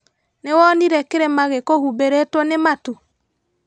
Nĩwonire kĩrima gĩkũhumbĩrĩtwo nĩ matu?